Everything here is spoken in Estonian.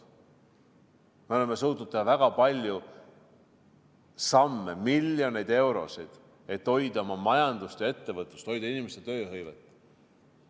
Me oleme suutnud teha väga palju samme, miljoneid eurosid, et hoida oma majandust ja ettevõtlust, hoida inimeste tööhõivet.